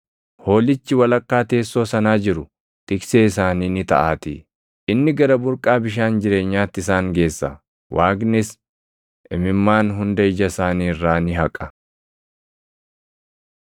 Hoolichi walakkaa teessoo sanaa jiru tiksee isaanii ni taʼaatii; ‘inni gara burqaa bishaan jireenyaatti isaan geessa.’ ‘Waaqnis imimmaan hunda ija isaanii irraa ni haqa.’ ”